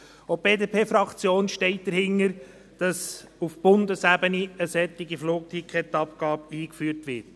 Auch die BDP-Fraktion steht dahinter, dass auf Bundesebene eine solche Flugticketabgabe eingeführt wird.